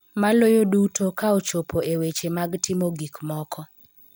Maloyo duto, ka ochopo e weche mag timo gik moko .